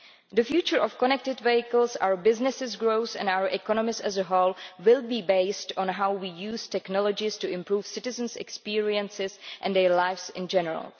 The future of connected vehicles, our business growth and our economies as a whole will be based on how we use technologies to improve citizens' experiences and their lives in general.